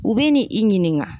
U bi ni i ɲininka.